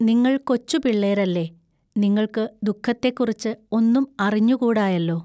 നിങ്ങൾ കൊച്ചുപിള്ളേരല്ലെ. നിങ്ങൾക്ക് ദുഃഖത്തെ കുറിച്ച് ഒന്നും അറിഞ്ഞു കൂടായെല്ലൊ.